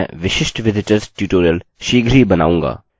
जब आप इसको देख रहे होंगे सम्भवतः तब वह उपलब्ध होगा